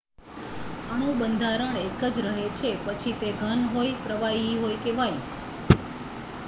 અણુબંધારણ એક જ રહે છે પછી તે ઘન હોય પ્રવાહી હોય કે વાયુ